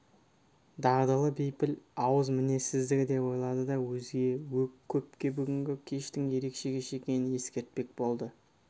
дағдылы бейпіл ауыз мінезсіздігі деп ойлады да өзге көпке бүгінгі кештің ерекше кеш екенін ескертпек болды